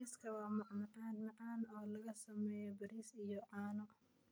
Bariiska waa macmacaan macaan oo laga sameeyay bariis iyo caano.